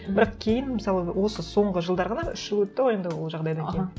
бірақ кейін мысалы осы соңғы жылдары ғана үш жыл өтті ғой енді ол жағдайдан кейін аха